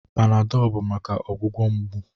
Panadolụ bụ maka ọgwụgwọ mgbu.